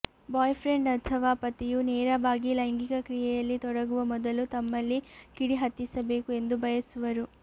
boy friend ಅಥವಾ ಪತಿಯು ನೇರವಾಗಿ ಲೈಂಗಿಕ ಕ್ರಿಯೆಯಲ್ಲಿ ತೊಡಗುವ ಮೊದಲು ತಮ್ಮಲ್ಲಿ ಕಿಡಿ ಹತ್ತಿಸಬೇಕು ಎಂದು ಬಯಸುವರು